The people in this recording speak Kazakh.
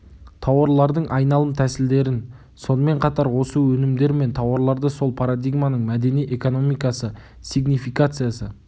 тауарлардың айналым тәсілдерін сонымен қатар осы өнімдер мен тауарларды сол парадигманың мәдени экономикасы сигнификациясы